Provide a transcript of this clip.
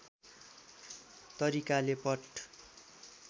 तरिकाले पट